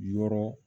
Yɔrɔ